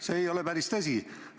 See ei ole päris tõsi.